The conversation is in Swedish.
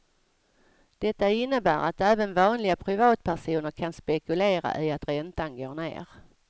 Detta innebär att även vanliga privatpersoner kan spekulera i att räntan går ner.